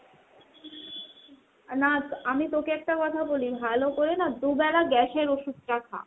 না আমি তোকে একটা কথা বলি ভালো করে না দু'বেলা gas এর ওষুধটা খা।